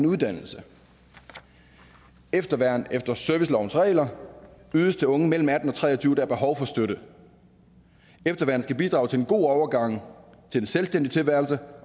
uddannelse efterværn efter servicelovens regler ydes til unge mellem atten og tre og tyve år der har behov for støtte efterværn skal bidrage til en god overgang til en selvstændig tilværelse